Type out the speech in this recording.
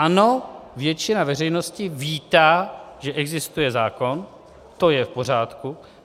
Ano, většina veřejnosti vítá, že existuje zákon, to je v pořádku.